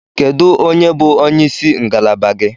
Kedu onye bụ onye isi ngalaba gị?